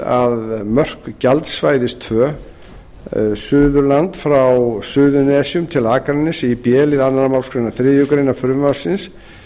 að mörk gjaldsvæðis tvö suðvesturland frá suðurnesjum til akraness í b lið önnur málsgrein þriðju greinar frumvarpsins